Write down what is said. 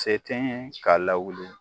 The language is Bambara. Se tɛ n ye ka lawuli.